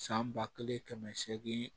San ba kelen kɛmɛ seegin